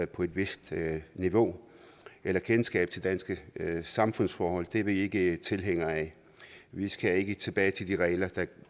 på et vist niveau eller kendskab til danske samfundsforhold er vi ikke tilhængere af vi skal ikke tilbage til de regler der